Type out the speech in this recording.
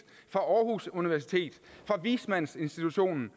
fra aarhus universitet fra vismandsinstitutionen